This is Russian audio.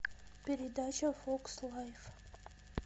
передача фокс лайф